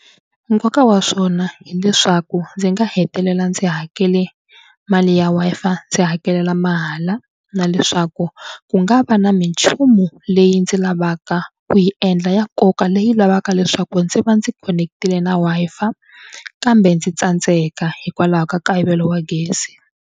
Nkoka wa swona hileswaku ndzi nga hetelela ndzi hakele mali ya Wi-Fi ndzi hakelela mahala na leswaku ku nga va na minchumu leyi ndzi lavaka ku yi endla ya nkoka leyi lavaka leswaku ndzi va ndzi khonekitile na Wi-Fi kambe ndzi tsandzeka hikwalaho ka nkayivelo wa gezi.